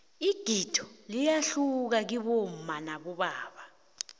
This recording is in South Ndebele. igido liyahluka kibomma nabobaba